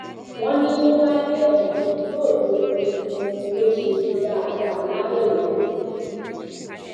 wọn ní tó bá dé ọhún ni yóò tóó mọ ìtumọ ohun tó ṣe yìí dáadáa lábẹ òfin